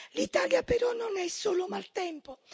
L'Italia però non è solo maltempo.